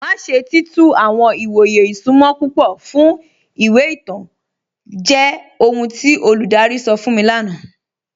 Má ṣè tí tú àwọn ìwọ̀yè ìṣúnmọ̀ púpọ̀ fún ìwé ìtàn jẹ́ ọhun tí olúdárí sọ̀ fún mi lána.